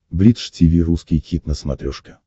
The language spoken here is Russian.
бридж тиви русский хит на смотрешке